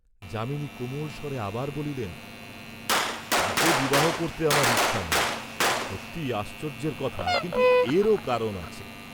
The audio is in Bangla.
যামিনী কোমলস্বরে আবার বলিলেন, "তাকে বিবাহ করতে আমার ইচ্ছা নেই, সত্যিই আশ্চর্যের কথা, কিন্তু এরও কারণ আছে।"